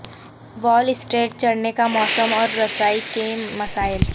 وال سٹریٹ چڑھنے کا موسم اور رسائی کے مسائل